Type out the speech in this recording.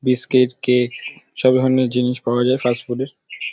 biscuit cake সব ধরনের জিনিস পাওয়া যায় ফাস্ট ফুড -এর--